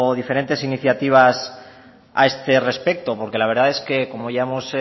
diferentes iniciativas a este respecto porque la verdad es que como ya hemos